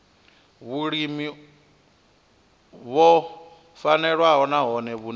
vhulimi o vhofhanaho nahone vhune